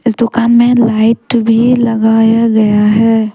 इस दुकान में लाइट भी लगाया गया है।